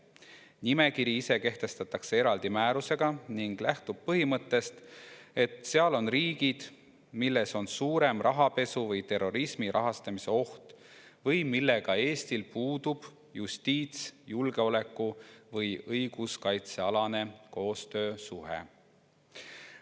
Nimekiri ise kehtestatakse eraldi määrusega ning lähtub põhimõttest, et seal on riigid, kus on suurem rahapesu või terrorismi rahastamise oht või millega Eestil puudub justiits‑, julgeoleku‑ või õiguskaitsealane koostöösuhe.